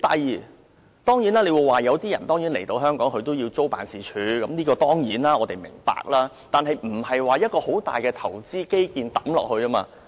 或者有人說，他們的職員來香港會租辦事處，我們當然明白，但是，這並不是一個大型的投資基建項目。